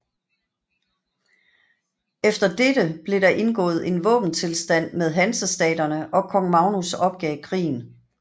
Efter dette blev der indgået en våbenstilstand med Hansestaterne og Kong Magnus opgav krigen